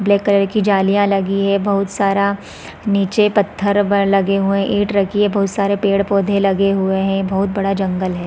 Black colour की जालियाँ लगी है बहुत सारा नीचे पत्थर व लगे हुए है ईट रखी है बहुत सारे पेड़ -पौधे लगे हुए है बहुत बड़ा जंगल हैं ।